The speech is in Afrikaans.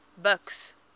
buks